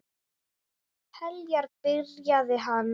Heljar, byrjaði hann.